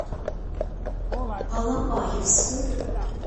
алапаевску